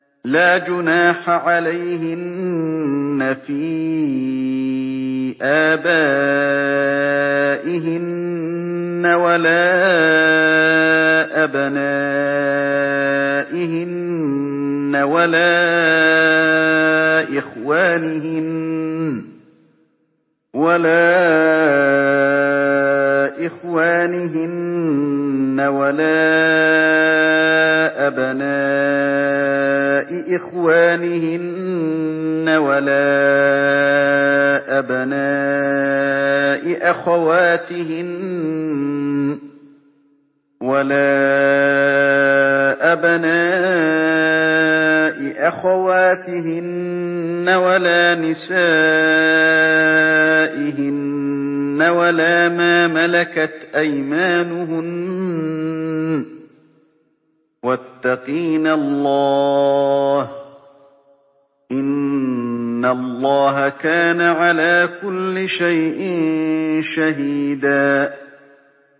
لَّا جُنَاحَ عَلَيْهِنَّ فِي آبَائِهِنَّ وَلَا أَبْنَائِهِنَّ وَلَا إِخْوَانِهِنَّ وَلَا أَبْنَاءِ إِخْوَانِهِنَّ وَلَا أَبْنَاءِ أَخَوَاتِهِنَّ وَلَا نِسَائِهِنَّ وَلَا مَا مَلَكَتْ أَيْمَانُهُنَّ ۗ وَاتَّقِينَ اللَّهَ ۚ إِنَّ اللَّهَ كَانَ عَلَىٰ كُلِّ شَيْءٍ شَهِيدًا